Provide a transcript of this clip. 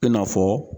I n'a fɔ